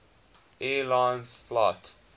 air lines flight